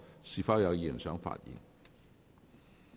是否有議員想發言？